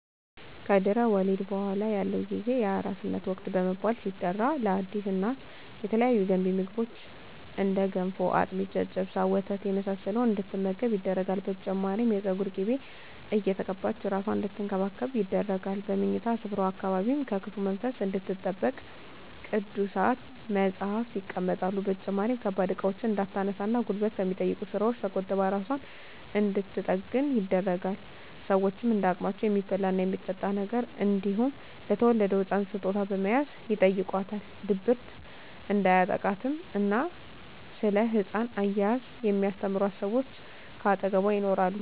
ከድህረ ወሊድ በኃላ ያለው ጊዜ የአራስነት ወቅት በመባል ሲጠራ ለአዲስ እናት የተለያዩ ገንቢ ምግቦች እንደ ገንፎ፣ አጥሚት፣ ጨጨብሳ፣ ወተት የመሳሰለውን እንድትመገብ ይደረጋል። በተጨማሪም የፀጉር ቅቤ እየተቀባች እራሷን አንድትንከባከብ ይደረጋል። በምኝታ ስፍራዋ አካባቢም ከክፉ መንፈስ እንድትጠበቅ ቅዱሳት መፀሃፍት ይቀመጣሉ። በተጨማሪም ከባድ እቃዎችን እንዳታነሳ እና ጉልበት ከሚጠይቁ ስራወች ተቆጥባ እራሷን እንድንትጠግን ይደረጋል። ሸወችም እንደ አቅማቸው የሚበላ እና የሚጠጣ ነገር እንዲሁም ለተወለደዉ ህፃን ስጦታ በመያዝ ይጨይቋታል። ድብርት እንዲያጠቃትም እና ስለ ህፃን አያያዝ የሚስተምሯት ሰወች ከአጠገቧ ይኖራሉ።